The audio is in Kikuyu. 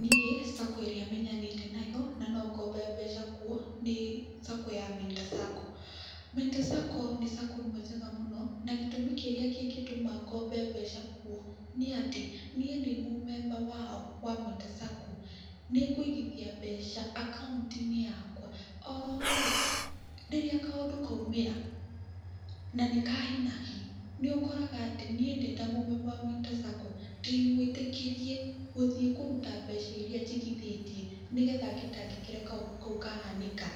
Niĩ Sacco ĩrĩa menyanĩte nayo na no ngombe mbeca kuo nĩ Sacco ya Mentor Sacco. Mentor Sacco nĩ Sacco ĩmwe njega mũno, na gĩtũmi kĩrĩa kĩngĩtũma ngombe mbeca kuo nĩ atĩ, niĩ ndĩ mũmemba wao wa Mentor Sacco nĩngũigithia mbeca akaunti-inĩ yakwa. Oroho-rĩ rĩrĩa kaũndũ kaumĩra, na nĩ ka hi na hi, nĩũkoraga ati niĩ ndĩ ta mũmemba wa Mentor Sacco ndĩ mwĩtĩkĩrie gũthiĩ kũruta mbeca iria njigithĩtie, nĩgetha ngĩtangĩkĩre kaũndũ kau kahanĩka